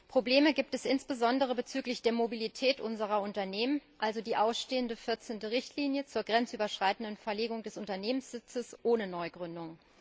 Probleme gibt es insbesondere bezüglich der Mobilität unserer Unternehmen also die ausstehende 14. Richtlinie zur grenzüberschreitenden Verlegung des Unternehmenssitzes ohne Neugründung.